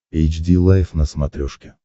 эйч ди лайф на смотрешке